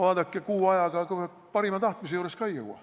Vaadake, kuu ajaga ka parima tahtmisega seda ei jõua.